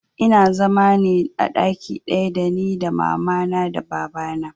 Ina zama ne a ɗaki ɗaya da ni da mama na da baba na